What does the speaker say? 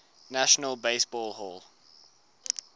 national baseball hall